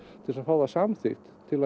til þess að fá það samþykkt til